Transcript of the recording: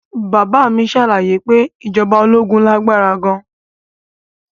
Bàbá mi ṣàlàyé pé ìjọba ológun lágbára gan